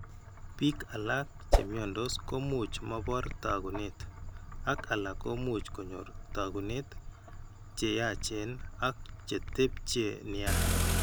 Biik alak che mnyandos komuch mobor taakunet ak alak komuch kony'or taakunet che yachen ak chetepche nia.